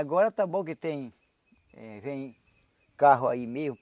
Agora está bom que tem... Vem carro aí mesmo.